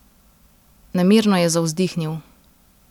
Nemirno je zavzdihnil.